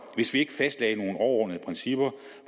hvis vi ikke fastlagde nogle overordnede principper